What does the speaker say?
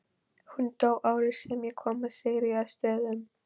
Hún dó árið sem ég kom að Sigríðarstöðum.